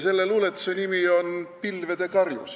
Selle luuletuse nimi on "Pilvede karjus".